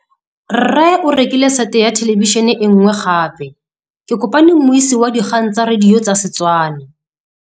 Rre o rekile sete ya thêlêbišênê e nngwe gape. Ke kopane mmuisi w dikgang tsa radio tsa Setswana.